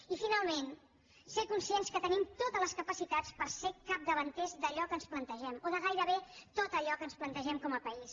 i finalment ser conscients que tenim totes les capacitats per ser capdavanters d’allò que ens plantegem o de gairebé tot allò que ens plantegem com a país